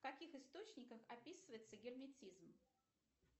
в каких источниках описывается герметизм